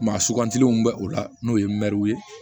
Maa sugantilen bɛ o la n'o ye mɛruw ye